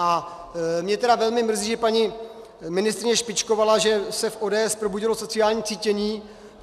A mě tedy velmi mrzí, že paní ministryně špičkovala, že se v ODS probudilo sociální cítění.